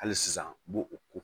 Hali sisan u b'o o ko